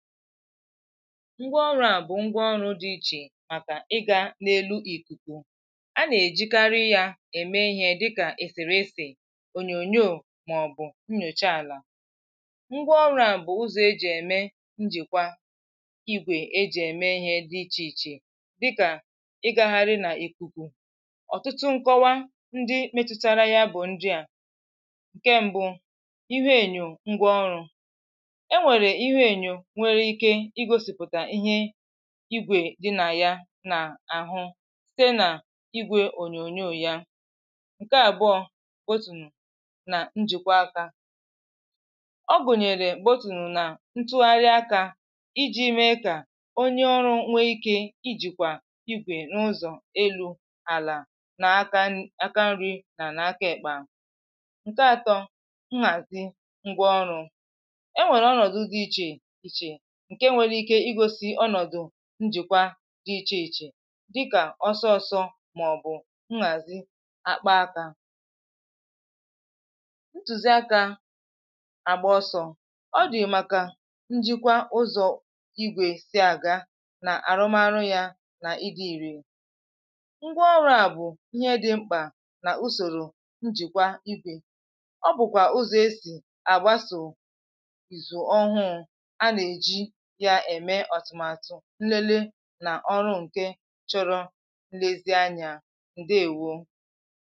ngwaọrụ a bụ̀ ngwaọrụ̀ dị iche makà ị ga n’elu ikuku a na-ejikarị yà eme ihe dịkà eserese, ònyònyoò, maọbụ̀ nyocha alà. ngwaọrụ a bụ̀ ụzọ̀ ejì eme njikwa igwè ejì eme ihe dị iche ichè dịkà ịgaghari na ikuku ọtụtụ nkọwa ndị metụtara ya bụ̀ ndị à; nke mbụ ihu enyo ngwaọrụ̀ e nwere ihu enyo igwè di nà ya nà-àhụ site nà igwè ònyònyo ya ǹke àbụọ bụ̀tụ̀nụ̀ nà njìkwa aka ọ bụ̀nyèrè gbòtùnụ̀ nà ntụgharị akȧ iji̇ mee kà onye ọrụ nwe ike ijìkwà igwè n’ụzọ̀ elu̇, àlà nà aka nri nà nà aka èkpe. ǹke atọ nhàzi ngwa ọrụ̇ ǹke nwere ike igosi ọnọ̀dụ̀ njìkwa dị ichè ichè dịkà ọsọọ̇sọ̇ màọ̀bụ̀ nhàzi akpa akȧ. ntùzi akȧ àgba ọsọ̇ ọ dị̀ màkà njikwa ụzọ̀ igwè si àga nà àrụmarụ yȧ nà ịdi̇ ìrè ngwaọrụ̇ à bụ̀ ihe dị mkpà nà usòrò njìkwa ibè ọ bụ̀kwà ụzọ̀ esì àgbasò ìzù ọhụụ̇ a na eji eme atụmatụ nlele nà ọrụ ǹke chọrọ nlezianyà ǹdewo